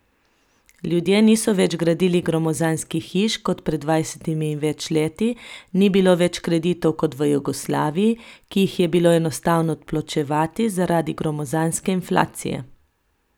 Ljudje niso več gradili gromozanskih hiš kot pred dvajsetimi in več leti, ni bilo več kreditov kot v Jugoslaviji, ki jih je bilo enostavno odplačevati zaradi gromozanske inflacije.